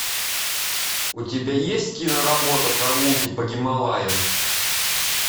у тебя есть киноработа прогулки по гималаям